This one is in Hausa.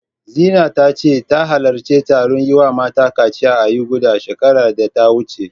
Zina ta ce, ta halarci taron yi wa mata kaciya a Yuganda, shekarar da ta wuce.